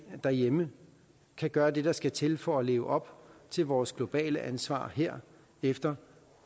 derhjemme kan gøre det der skal til for at leve op til vores globale ansvar her efter